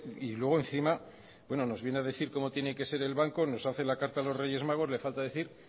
y luego encima nos viene a decir cómo tiene que ser el banco nos hacen la carta a los reyes magos le falta decir